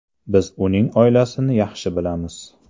Biz uning oilasini yaxshi bilamiz.